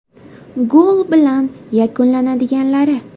Gol bilan yakunlanadiganlari.